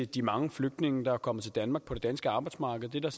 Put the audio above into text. de mange flygtninge der er kommet til danmark på det danske arbejdsmarked det